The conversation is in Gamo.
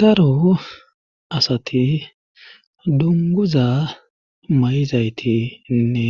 daro asati dunguza may7izaytiinne